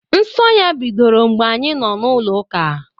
Nsọ ya bidoro mgbe anyị nọ n'ụlọ ụka